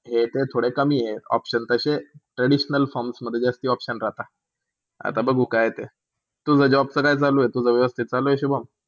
हे ते थोडे कमी आहे option तशे traditional forms मध्ये जास्ती option राहता. आता बघू काय हाय ते. तुझा job च्या काय चालू? तुझा वेवस्थीत चालू आह शुभम.